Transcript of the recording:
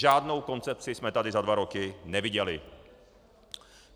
Žádnou koncepci jsme tady za dva roky neviděli.